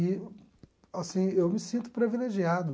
E, assim, eu me sinto privilegiado.